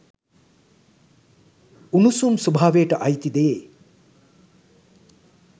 උණුසුම් ස්වභාවයට අයිති දේ